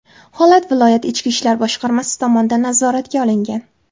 Holat viloyat Ichki ishlar boshqarmasi tomonidan nazoratga olingan.